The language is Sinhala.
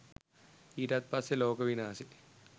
ඊටත් පස්සෙ ලෝක විනාසෙ